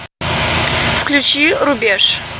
включи рубеж